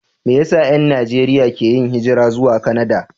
Me yasa 'yan Najeriya ke yin hijira zuwa Kanada?